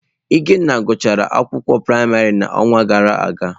Ikenna gụchara akwụkwọ praịmarị n’ọnwa gara aga.